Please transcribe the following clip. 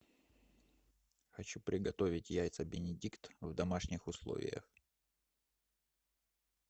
хочу приготовить яйца бенедикт в домашних условиях